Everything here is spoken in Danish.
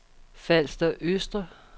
Falster Østre